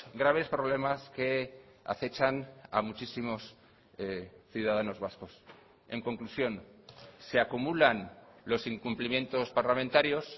graves problemas que acechan a muchísimos ciudadanos vascos en conclusión se acumulan los incumplimientos parlamentarios